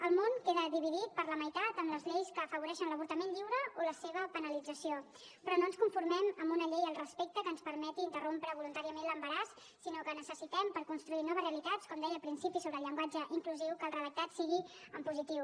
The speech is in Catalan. el món queda dividit per la meitat amb les lleis que afavoreixen l’avortament lliure o la seva penalització però no ens conformem amb una llei al respecte que ens permeti interrompre voluntàriament l’embaràs sinó que necessitem per construir noves realitats com deia al principi sobre el llenguatge inclusiu que el redactat sigui en positiu